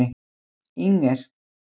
Inger